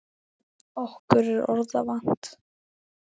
Okkur er orða vant.